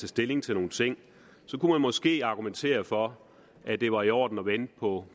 stilling til nogle ting kunne man måske argumentere for at det var i orden at vente på